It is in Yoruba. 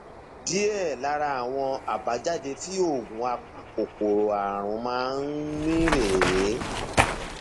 díẹ lára àwọn àbájáde tí oògùn apakòkòrò ààrùn máa ń ní rèé